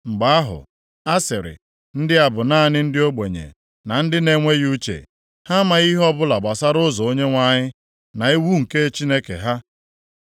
Mgbe ahụ, a sịrị, “Ndị a bụ naanị ndị ogbenye na ndị na-enweghị uche, ha amaghị ihe ọbụla gbasara ụzọ Onyenwe anyị, na iwu nke Chineke ha.